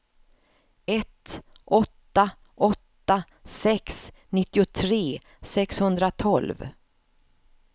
ett åtta åtta sex nittiotre sexhundratolv